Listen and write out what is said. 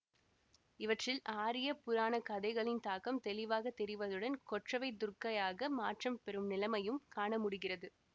இவற்றில் ஆரியப் புராணக் கதைகளின் தாக்கம் தெளிவாக தெரிவதுடன் கொற்றவை துர்க்கையாக மாற்றம் பெறும் நிலைமையையும் காண முடிகிறது